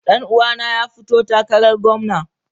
Dan uwana ya fito takarar gwamna.